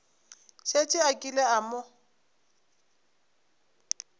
šetše a kile a mo